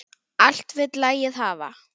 Allt vill lagið hafa.